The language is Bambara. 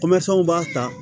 b'a ta